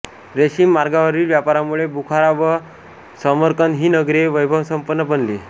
रेशीम मार्गावरील व्यापारामुळे बुखारा व समरकंद ही नगरे वैभवसंपन्न बनली